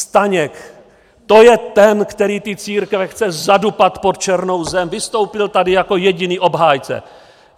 Staněk, to je ten, který ty církve chce zadupat pod černou zem, vystoupil tady jako jediný obhájce.